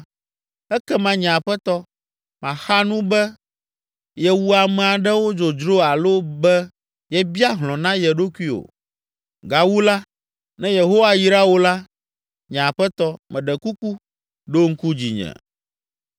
ekema, nye aƒetɔ, màxa nu be yewu ame aɖewo dzodzro alo be yebia hlɔ̃ na ye ɖokui o. Gawu la, ne Yehowa yra wò la, nye aƒetɔ, meɖe kuku, ɖo ŋku dzinye!”